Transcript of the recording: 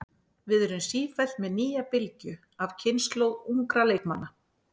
Við erum sífellt með nýja bylgju af kynslóð ungra leikmanna.